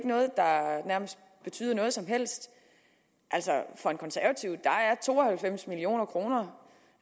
noget der betyder noget som helst for en konservativ er to og halvfems million kroner